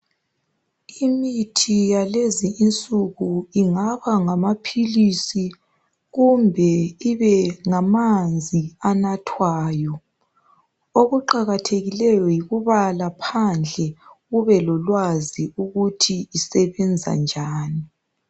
Imithi yakulezi insuku ingaba ngamaphilisi kumbe ibe ngamanzi anathwayo okuqakathekileyo yikubala phandle ube lolwazi ukuthi isebenza njani.